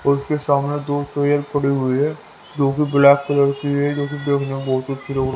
उसके सामने दो कोयल पड़ी हुई है जो की ब्लैक कलर की है जो की देखनें में बहुत अच्छी लग रही--